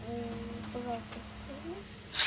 пожалуйста скажи